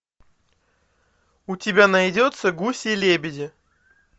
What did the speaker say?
у тебя найдется гуси лебеди